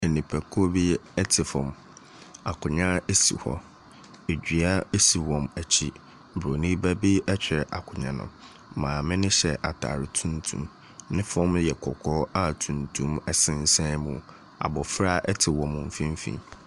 Nnipakuo bi ɛ te fam. Akonnwa si hɔ. Dua si wɔn akyi. Buroni ba bi twere akonnwa no. maame no hyɛ atare tuntum. Ne fam no yɛ kɔkɔɔ a tuntum sensan mu. Abɔfra te wɔn mfimfini.